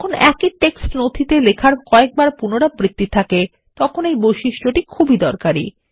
যখন একই টেক্সট নথিতে লেখার কয়েকবার পুনরাবৃত্তি থাকে তখন এই বৈশিষ্ট্যটি খুবই দরকারী